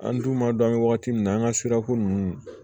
An dun b'a dɔn an bɛ wagati min na an ka sirako nunnu